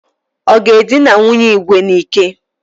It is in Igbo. Ọ ga-edina nwunye Igwe n'ike?